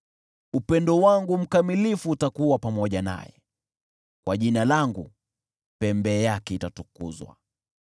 Upendo wangu mkamilifu utakuwa pamoja naye, kwa Jina langu pembe yake itatukuzwa.